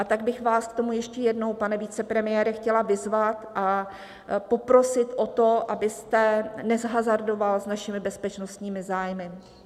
A tak bych vás k tomu ještě jednou, pane vicepremiére, chtěla vyzvat a poprosit o to, abyste nehazardoval s našimi bezpečnostními zájmy.